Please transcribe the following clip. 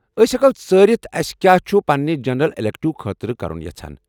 أسۍ ہٮ۪کو ژٲرتھ أسہِ کیاہ چُھِ پننہِ جنرل ایٚلیکٹو خٲطرٕ کرُن یژھان۔